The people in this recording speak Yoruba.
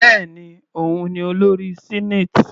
Bẹ́ẹ̀ni, òun ni olórí senate.